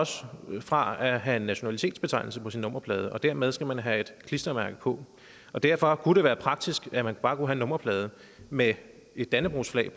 fra at have en nationalitetsbetegnelse på sin nummerplade og dermed skal man have et klistermærke på derfor kunne det være praktisk at man bare kunne nummerplade med et dannebrogsflag